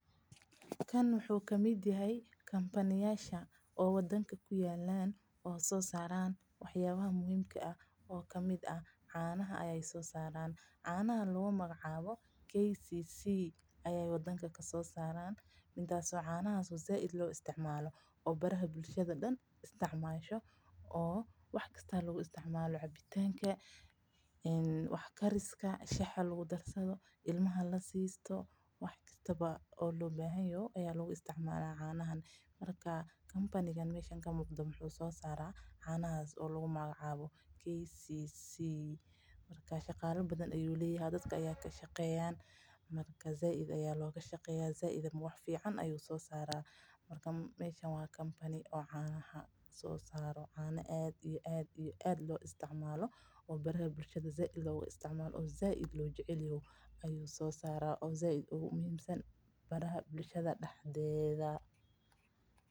Kan wuxuu kamid yahay kampaniyasha wadanka ku yaala oo kamid ah waxa aay soo saran oo waxa kamid ah canaha canahaas oo lagu magacaabo KCC waxaa lagu isticmaala wax yaaba badan sida in ilmaha lasiiyo shaha lagudarsado cana sait umacaan shaqala fican ayaa ka shaqeeya bulshada dexdeeda sait ayuu muhiim oogu yahay.